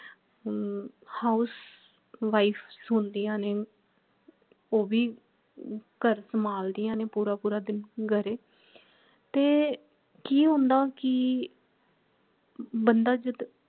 ਹਮ house wives ਹੁੰਦੀਆਂ ਨੇ ਉਹ ਭੀ ਘਰ ਸੰਭਾਲ ਦੀਆਂ ਨੇ ਪੂਰਾ ਪੂਰਾ ਦਿਨ ਘਰੇ ਤੇ ਕਿ ਹੁੰਦਾ ਕਿ ਬੰਦਾ ਜਦ